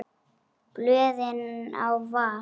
Blöðin á var.